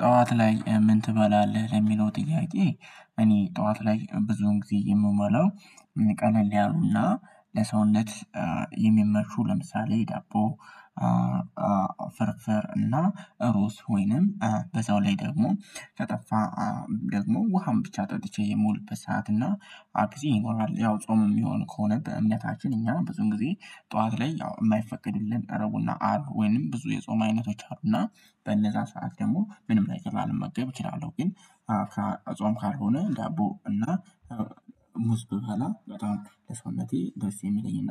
ጥኋት ላይ ምን ትበላለህ ለሚለው ጥያቄ? እኔ ጥኋት ላይ ብዙን ጊዜ የምበላው ያሉና ለሰውነት የሚመርፉ ለምሳሌ ዳቦ ፍርፍር እና ሩዝ ውይንም በዛው ላይ ደግሞ ከጠፋ ደግሞ ውሃም ብቻ ጠጥቼ የምውልበትና ሰዓት እና አክሲም ይኖራል። ያው ጾም የሚሆን ከሆነ በእምነታችን እኛ ብዙን ጊዜ ጠዋት ላይ ያው የማይፈቀድልን ረቡእና አርብ ወይንም ብዙ የጾም አይነቶች አሉና በእነዛ ሰዓት ደግሞ ምንም ነገር ላለመገብ እችላለሁ። ግን ጽም ካልሆነ ዳቦ እና ሙዝ ብበላ በጣም ለሰውነቴ ደስ የሚለኝና